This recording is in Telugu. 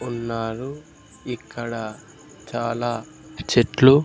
ఉన్నారు ఇక్కడ చాలా చెట్లు--